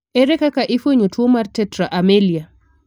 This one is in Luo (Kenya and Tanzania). Ere kaka ifuenyo tuo mar tetra amelia?